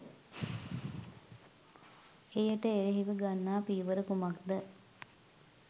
එයට එරෙහිව ගන්නා පියවර කුමක්ද?